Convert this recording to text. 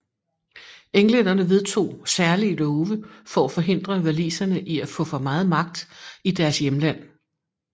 Englænderne vedtog særlige love for at forhindre waliserne i at få for meget magt i deres hjemland